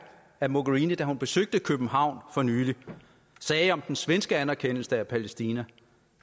at mogherini da hun besøgte københavn for nylig sagde om den svenske anerkendelse af palæstina